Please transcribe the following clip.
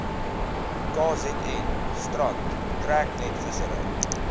kzn strand treknetvissery